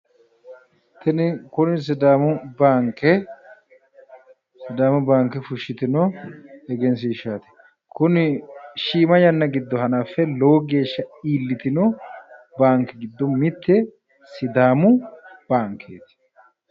tini kuni sidaamu baanke fushitino egensiishshaati. kuni shiima yanna giddo hanaffe lowo geeshsha iillitino baanke giddo mitte sidaamu baankeeti.